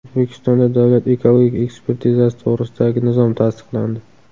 O‘zbekistonda Davlat ekologik ekspertizasi to‘g‘risidagi nizom tasdiqlandi.